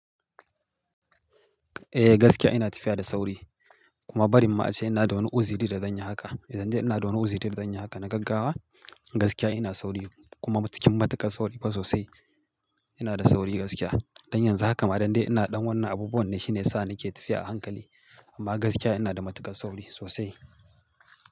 Eh gaskiya ina tafiya da sauri kuma bari ma ace ina da wani uziri da zanyi haka. Idan dai ina da wani uziri da zanyi haka na gaggawa gaskiya ina sauri kuma cikin matuƙar sauri ba sosai. Ina da sauri gaskiya. Don yanzu haka ma dande ina dan wannan abubuwan ne shine yasa nake tafiya a hankali. Amma gaskiya ina da matuƙar sauri sosai.